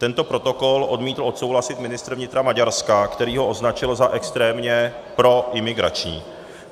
Tento protokol odmítl odsouhlasit ministr vnitra Maďarska, který ho označil za extrémně proimigrační.